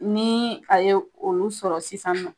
Ni a ye olu sɔrɔ sisan nɔ.